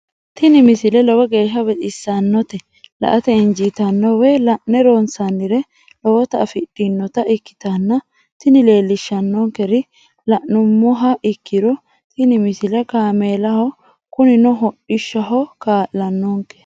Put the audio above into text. tini misile lowo geeshsha baxissannote la"ate injiitanno woy la'ne ronsannire lowote afidhinota ikkitanna tini leellishshannonkeri la'nummoha ikkiro tini misile kaameelaho kunino hodhishshaho kaa'lannonke.